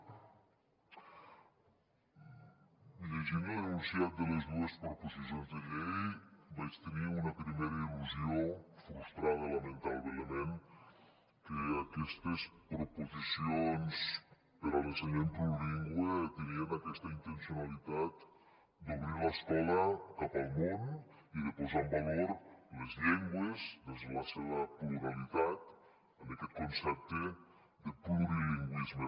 llegint l’enunciat de les dues proposicions de llei vaig tenir una primera il·lusió frustrada lamentablement que aquestes proposicions per a l’ensenyament plurilingüe tenien aquesta intencionalitat d’obrir l’escola cap al món i de posar en valor les llengües des de la seva pluralitat en aquest concepte de plurilingüisme